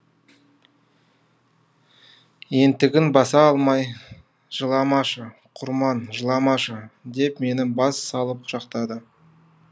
ентігін баса алмай жыламашы құрман жыламашы деп мені бас салып құшақтады